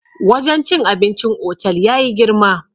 wajen cin abincin otal ya yi girma